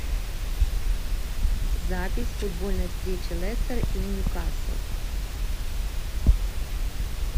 запись футбольной встречи лестер и ньюкасл